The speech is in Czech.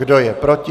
Kdo je proti?